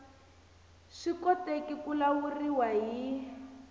swi koteki ku lawuriwa hi